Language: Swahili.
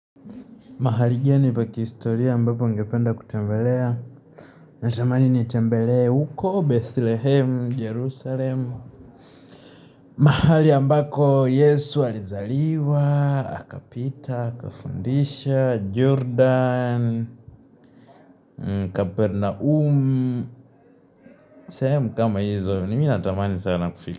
Mahalijani pa kistoria mbapo ningependa kutembelea Natamani nitembelea huko Bethlehem, Jerusalem mahali ambako Yesu alizaliwa, akapita, akafundisha, Jordan, Kapernaum sehemu kama hizo, ni mi natamani sana na kufili.